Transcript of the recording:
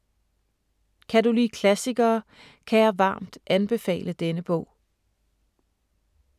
Kan du lide klassikere, kan jeg varmt anbefale denne bog.